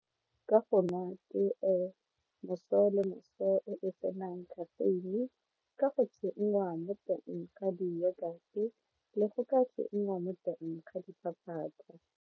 Ka moso le moso e tsenang caffeine ka go tsenngwa mo teng ga le go ka tsenngwa mo teng ga .